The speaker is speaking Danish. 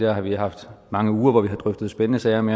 har vi haft mange uger hvor vi har drøftet spændende sager om